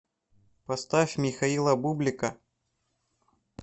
поставь михаила бублика